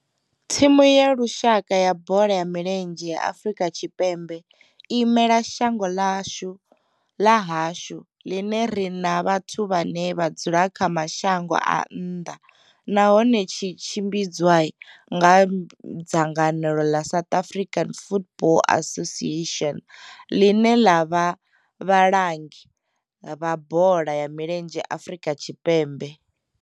Thimu ya lushaka ya bola ya milenzhe ya Afrika Tshipembe i imela shango ḽa hashu ḽi re na vhathu vhane vha dzula kha mashango a nnḓa nahone tshi tshimbidzwa nga dzangano ḽa South African Football Association, ḽine ḽa vha vhalangi vha bola ya milenzhe Afrika Tshipembe.